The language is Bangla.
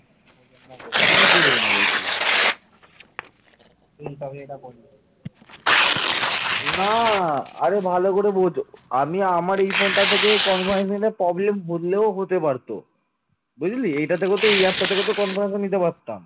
বুঝলি এইটা থেকে তো এই app থেকেও তো conference নিতে পারতাম